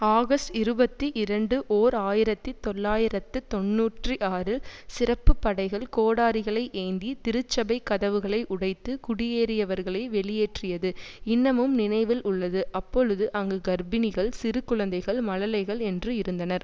August இருபத்தி இரண்டு ஓர் ஆயிரத்தி தொள்ளாயிரத்து தொன்னூற்றி ஆறில் சிறப்பு படைகள் கோடாரிகளை ஏந்தி திருச்சபைக் கதவுகளை உடைத்து குடியேறியவர்களை வெளியேற்றியது இன்னமும் நினைவில் உள்ளது அப்பொழுது அங்கு கர்ப்பிணிகள் சிறு குழந்தைகள் மழலைகள் என்று இருந்தனர்